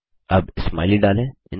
अब स्माइली डालें160